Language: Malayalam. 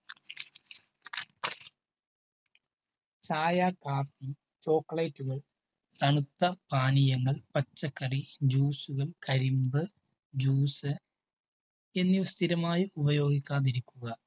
ചായ കാപ്പി chocolate milk തണുത്ത പാനീയങ്ങൾ പച്ചക്കറി ജ്യൂസുകൾ കരിമ്പ് juice എന്നിവ സ്ഥിരമായി ഉപയോഗിക്കാതിരിക്കുക.